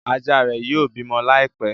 ajà ré yio bímọ Láìpé.